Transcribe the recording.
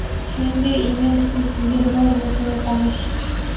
Shuningdek, ingliz tili sizga biroz bo‘lsa-da tanish.